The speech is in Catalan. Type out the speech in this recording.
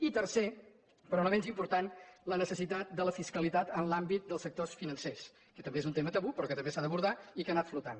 i tercer però no menys important la necessitat de la fiscalitat en l’àmbit dels sectors financers que també és un tema tabú però que també s’ha d’abordar i que ha anat flotant